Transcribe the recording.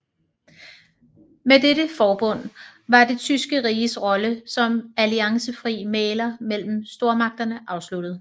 Med dette forbund var det tyske riges rolle som alliancefri mægler mellem stormagterne afsluttet